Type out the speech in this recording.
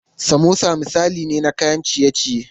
Samosa misali ne na kayan ciye ciye.